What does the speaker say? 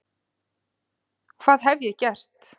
hvað hef ég gert?